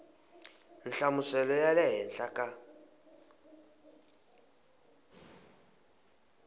nhlamuselo ya le henhla ka